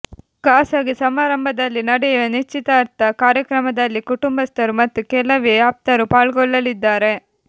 ಖಾಸಗಿ ಸಮಾರಂಭದಲ್ಲಿ ನಡೆಯುವ ನಿಶ್ಚಿತಾರ್ಥ ಕಾರ್ಯಕ್ರಮದಲ್ಲಿ ಕುಟುಂಬಸ್ಥರು ಮತ್ತು ಕೆಲವೇ ಆಪ್ತರು ಪಾಲ್ಗೊಳ್ಳಲಿದ್ದಾರೆ